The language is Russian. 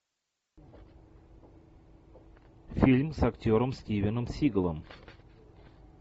фильм с актером стивеном сигалом